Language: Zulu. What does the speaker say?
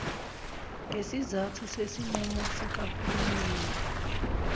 ngesizathu sesinqumo sikahulumeni